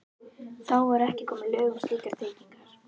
Þá voru ekki komin lög um slíkar tryggingar.